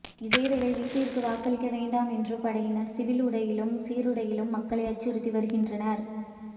இதேவேளை வீட்டிற்கு வாக்களிக்க வேண்டாம் என்று படையினர் சிவில் உடையிலும் சீருடையிலும் மக்களை அச்சுறுத்தி வருகின்றனர்